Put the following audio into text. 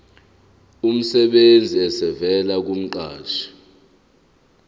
emsebenzini esivela kumqashi